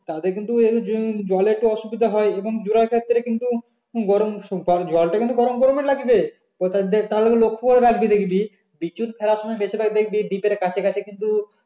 তাদের কিন্তু উম জলে তো অসুবিধা হয়ই এবং . গরম জলটা কিন্তু গরমগরম ই লাগবে . লক্ষ্য করে রাখবি দেখবি বিচুন ফেলার সময় বেশিরভাগ দেখবি deep এর কাছে কাছেই কিন্তু